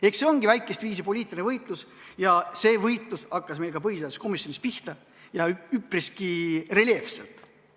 Eks see ongi väikestviisi poliitiline võitlus ja see võitlus hakkas meil ka põhiseaduskomisjonis pihta ja üpriski reljeefselt.